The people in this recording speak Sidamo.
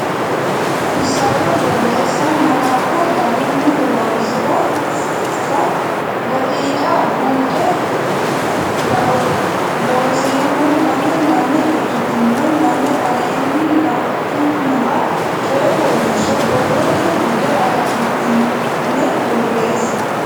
Isayyo Borreessa Malaatta garunni horoonsi ransa daqiiqa buuxi Looseemmo lame lame ikkitine lame aleenni la nummoha coy fooliishsho borrote bude agadhitine borreesse.